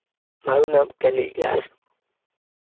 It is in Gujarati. મારુ નામ કેનીલ વ્યાસ